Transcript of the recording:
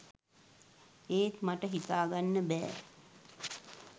ඒත් මට හිතාගන්න බෑ